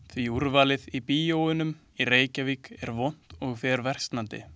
Því úrvalið í bíóunum í Reykjavík er vont og fer versnandi.